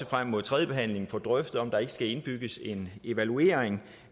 frem mod tredjebehandlingen får drøftet om der ikke skal indbygges en evaluering